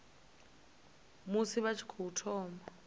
musi vha tshi tou thoma